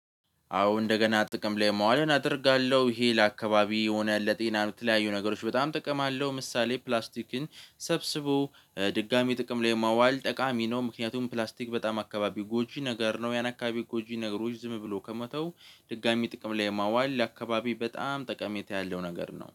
አዎ እንደገና ጥቅም ላይ ማዋልን አደርጋለሁ። ይሄ ለአካባቢ የሆነ ለጤና ለተለያዩ ነገሮች በጣም ጥቅም አለው። ምሳሌ ፕላስቲክን ሰብስቦ ድጋሚ ጥቅም ላይ ማዋል ጠቃሚ ነው። ምክንያቱም ፕላስቲክ በጣም አካባቢ ጎጂ ነገር ነው። ያን አካባቢ ጎጂ ነገሮች ዝም ብሎ ከመተው ድጋሚ ጥቅም ላይ ማዋል ለአከባቢ በጣም ጠቀሜታ ያለው ነገር ነው።